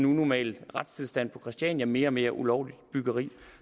unormal retstilstand på christiania med mere og mere ulovligt byggeri